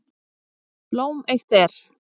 Blóm eitt er.